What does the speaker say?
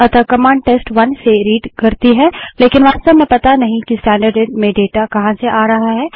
अतः कमांड टेस्ट1 से रीडपढ़ती करती है लेकिन वास्तव में पता नहीं है कि स्टैन्डर्डइन में डाटा कहाँ से आ रहा है